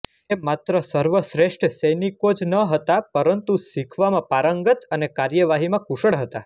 તે માત્ર સર્વશ્રેષ્ઠ સૈનિકો જ નહોતા પરંતુ શિખવામાં પારંગત અને કાર્યવાહીમાં કુશળ હતા